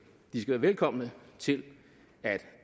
de skal være velkomne til at